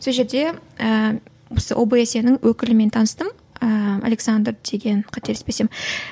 сол жерде ііі осы обсе нің өкілімен таныстым ыыы александр деген қателеспесем